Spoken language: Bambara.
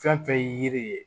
Fɛn fɛn ye yiri ye